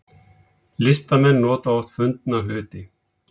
Listamenn nota oft fundna hluti